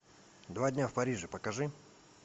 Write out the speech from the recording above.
два дня в париже покажи